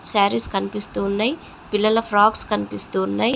సారీస్ కనిపిస్తూ ఉన్నాయ్. పిల్లల ఫ్రొక్స్ కనిపిస్తూ ఉన్నాయ్.